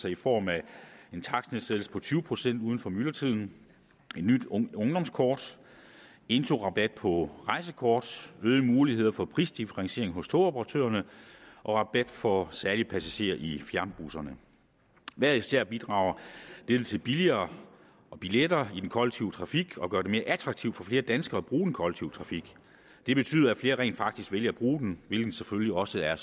i form af en takstnedsættelse på tyve procent uden for myldretiden et nyt ungdomskort introrabat på rejsekort øgede muligheder for prisdifferentiering hos togoperatørerne og rabat for særlige passagerer i fjernbusserne hver især bidrager dette til billigere billetter i den kollektive trafik og gør det mere attraktivt for flere danskere at bruge den kollektive trafik det betyder at flere rent faktisk vælger at bruge den hvilket selvfølgelig også er